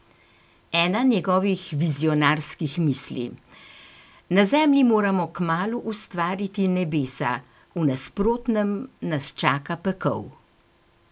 Ena njegovih vizionarskih misli: "Na Zemlji moramo kmalu ustvariti nebesa, v nasprotnem nas čaka pekel.